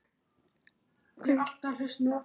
Sandel, hvað er jörðin stór?